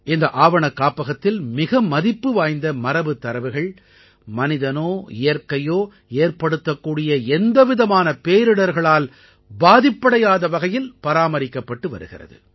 இந்த ஆவணக்காப்பகத்தில் மிக மதிப்பு வாய்ந்த மரபுத் தரவுகள் மனிதனோ இயற்கையோ ஏற்படுத்தக்கூடிய எந்தவிதமான பேரிடர்களால் பாதிப்படையாத வகையில் பராமரிக்கப்பட்டு வருகிறது